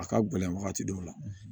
A ka gɛlɛn wagati dɔw la